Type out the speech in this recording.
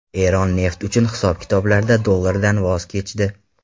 Eron neft uchun hisob-kitoblarda dollardan voz kechdi.